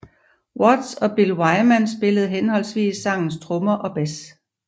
Watts og Bill Wyman spillede henholdsvis sangens trommer og bass